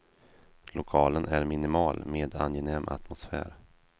Lokalen är minimal med angenäm atmosfär.